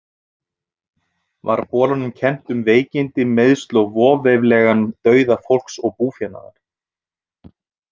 Var bolanum kennt um veikindi, meiðsl og voveiflegan dauða fólks og búfénaðar.